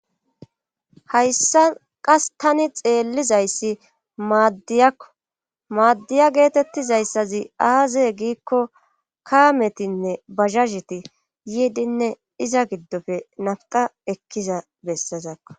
hayssa qas tani xeellizayssi maaddiyakko maaddiya geetettizayssazi aazee giikko kaametinne bazhazheti yiidinne iza giddofe nafqa ekkiza bessazakko